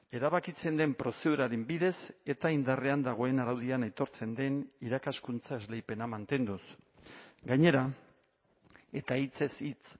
erabakitzen den prozeduraren bidez eta indarrean dagoen araudian aitortzen den irakaskuntza esleipena mantenduz gainera eta hitzez hitz